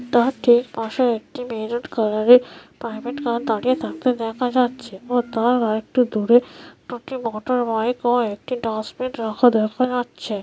তাকে পাশে একটি মেরুন কালারের প্রাইভেট কার দাঁড়িয়ে থাকতে দেখা যাচ্ছে এবং তার আর একটু দূরে দুটি মোটরবাইক ও একটি ডাস্টবিন রাখা দেখা যাচ্ছে।